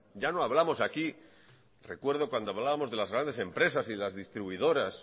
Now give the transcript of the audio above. ya no hablamos aquí recuerdo cuando hablábamos de las grandes empresas y de las distribuidoras